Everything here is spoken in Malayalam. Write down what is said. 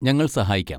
ഞങ്ങൾ സഹായിക്കാം.